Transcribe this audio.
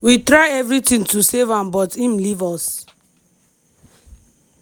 we try evritin to save am but im leave us.